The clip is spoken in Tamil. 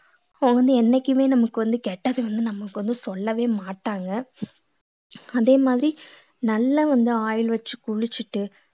அவங்க வந்து என்னைக்குமே நமக்கு வந்து கெட்டது வந்து நம்மளுக்கு வந்து சொல்லவே மாட்டாங்க அதே மாதிரி நல்லா வந்து oil வச்சு குளிச்சிட்டு